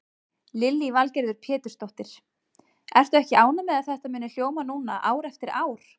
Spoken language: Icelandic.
Lillý Valgerður Pétursdóttir: Ertu ekki ánægð með að þetta muni hljóma núna ár eftir ár?